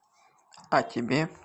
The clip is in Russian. а тебе